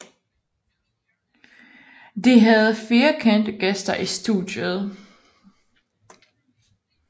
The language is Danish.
De havde fire kendte gæster i studiet